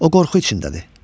O qorxu içindədir.